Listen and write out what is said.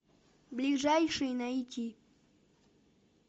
ближайший найти